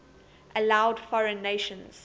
allowed foreign nations